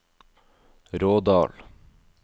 Rådal